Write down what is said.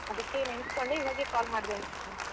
ಅದಕ್ಕೆ ನೆನ್ಸ್ಕೊಂಡಿ ಇವಾಗೆ call ಮಾಡ್ದೆ ನಿಮ್ಗೆ.